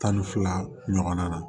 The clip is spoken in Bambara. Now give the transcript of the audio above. Tan ni fila ɲɔgɔnna